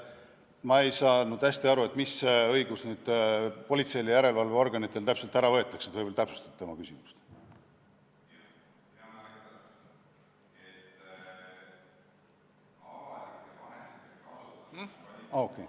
Ma ei saanud hästi aru, et mis õigus politseilt ja järelevalveorganitelt täpselt ära võetakse, võib-olla täpsustate oma küsimust.